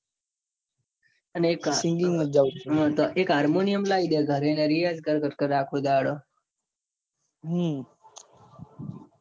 અને હા ને એક harmonium લઇ દે. ખાલી અને રિયાજ કર કર કર આખો દહાડો.